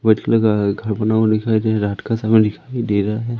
लगा है घर बना हुआ दिखाई दे रहा है रात का समय दिखाई दे रहा है।